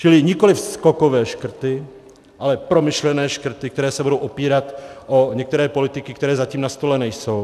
Čili nikoliv skokové škrty, ale promyšlené škrty, které se budou opírat o některé politiky, které zatím na stole nejsou.